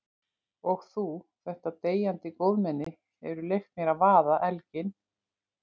Og þú, þetta deyjandi góðmenni, hefur leyft mér að vaða elginn.